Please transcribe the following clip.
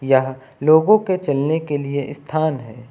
यह लोगों के चलने के लिए स्थान है।